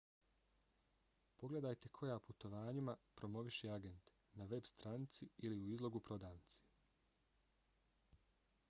pogledajte koja putovanjima promoviše agent na veb stranici ili u izlogu prodavnice